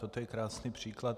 Toto je krásný příklad.